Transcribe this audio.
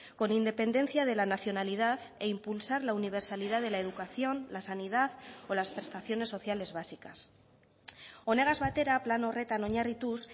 con independencia de la nacionalidad e impulsar la universalidad de la educación la sanidad o las prestaciones sociales básicas honegaz batera plan horretan oinarrituz